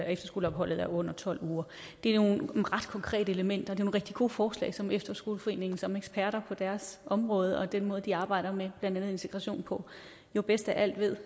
efterskoleopholdet er under tolv uger det er nogle ret konkrete elementer det rigtig gode forslag som efterskoleforeningen som eksperter på deres område og med den måde de arbejder med blandt andet integration på jo bedst af alle ved